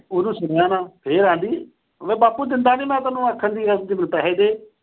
ਉਹਨੂੰ ਸੁਣਿਆ ਨਾ, ਫਿਰ ਆਂਹਦੀ। ਵੇ ਬਾਪੂ ਦਿੰਦਾ ਨੀਂ, ਮੈਂ ਤੈਨੂੰ ਆਖਣ ਡਈ ਆਂ ਮੈਨੂੰ ਪੈਸੇ ਦੇ।